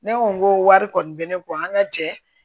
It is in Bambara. Ne ko n ko wari kɔni bɛ ne kɔ an ka cɛ